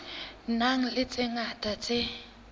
nang le tse ngata tse